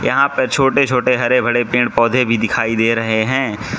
यहां पे छोटे छोटे हरे भरे पेड़ पौधे भी दिखाई दे रहे हैं।